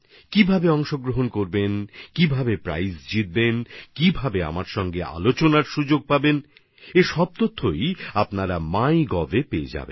কীভাবে অংশগ্রহণ করতে হবে কীভাবে প্রাইজ জেতা যায় কীভাবে আমার সঙ্গে আলোচনার সুযোগ পাওয়া যাবে সেইসব তথ্য আপনারা মাইগভএ পেয়ে যাবেন